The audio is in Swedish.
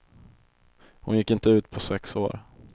Hon gick inte ut på sex år.